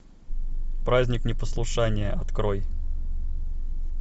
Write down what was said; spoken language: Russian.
праздник непослушания открой